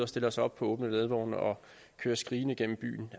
stiller sig op på åbne ladvogne og kører skrigende gennem byen